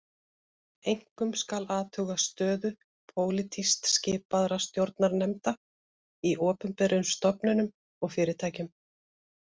Einkum skal athuga stöðu pólitískt skipaðra stjórnarnefnda í opinberum stofnunum og fyrirtækjum